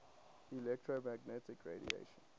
electromagnetic radiation